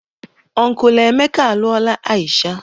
Unkulu Emeka alụọla Aisha.